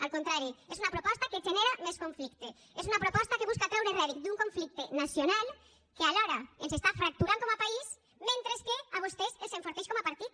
al contrari és una proposta que genera més conflicte és una proposta que busca treure rèdit d’un conflicte nacional que alhora ens està fracturant com a país mentre que a vostès els enforteix com a partit